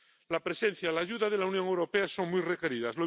La presencia, la ayuda de la Unión Europea son muy requeridas.